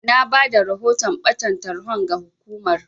Na bada rahoton ɓatan tarhon ga hukumar.